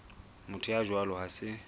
motho ya jwalo ha se